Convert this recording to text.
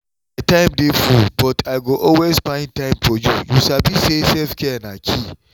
my time dey full but i go always find time for you you sabi say self-care na key!